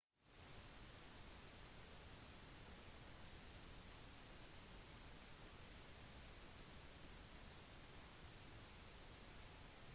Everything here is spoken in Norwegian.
virtuelle lagmedlemmer fungerer ofte som punkt for kontakt for sin umiddelbare fysiske gruppe